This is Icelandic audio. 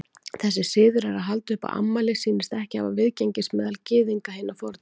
Þessi siður að halda upp á afmæli sýnist ekki hafa viðgengist meðal Gyðinga hinna fornu.